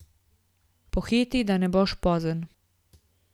Pohiti, da ne boš pozen.